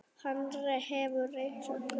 Hann hefur reynst okkur vel.